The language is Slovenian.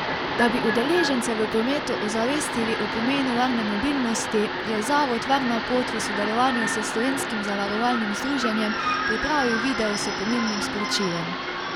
Da bi udeležence v prometu ozavestili o pomenu varne mobilnosti, je zavod Varna pot v sodelovanju s Slovenskim zavarovalnim združenjem pripravil video s pomembnim sporočilom.